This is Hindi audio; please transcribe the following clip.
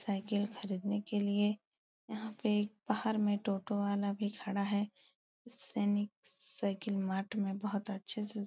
साइकिल खरीदने के लिये यहाँ पे बाहर में टोटो वाला भी खड़ा है। सैनिक साइकिल मार्ट में बहुत अच्छे से --